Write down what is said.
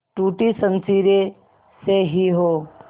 टूटी शमशीरें से ही हो